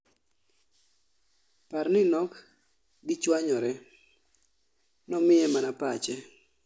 Par ni nok gichwanyore , nomiye mana pache